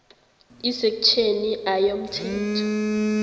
isektjheni a yomthetho